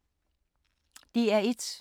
DR1